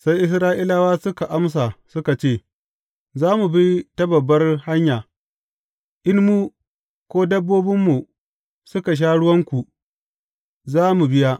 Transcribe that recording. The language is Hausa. Sai Isra’ilawa suka amsa, suka ce, Za mu bi ta babbar hanya, in mu, ko dabbobinmu suka sha ruwanku, za mu biya.